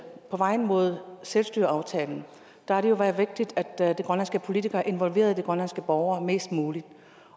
på vej mod selvstyreaftalen har det været vigtigt at de grønlandske politikere involverede de grønlandske borgere mest muligt